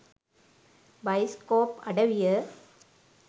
bioscope අඩවිය